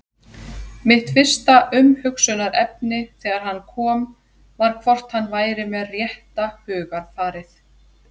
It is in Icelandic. Mitt fyrsta umhugsunarefni þegar hann kom var hvort hann væri með rétta hugarfarið?